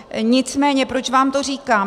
Nicméně proč vám to říkám.